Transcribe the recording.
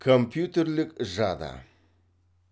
компьютерлік жады